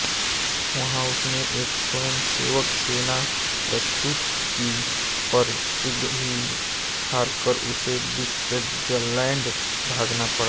वहाँ उसने एक स्वयंसेवक सेना प्रस्तुत की पर शीघ्र ही हारकर उसे स्विटजरलैंड भागना पड़ा